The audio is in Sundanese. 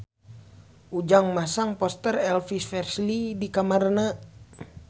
Ujang masang poster Elvis Presley di kamarna